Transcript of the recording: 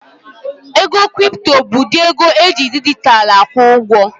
Ego kripto bụ ụdị ego eji dijitalụ akwụ ụgwọ